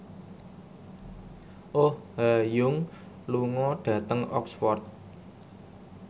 Oh Ha Young lunga dhateng Oxford